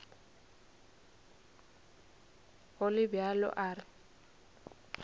go le bjalo a re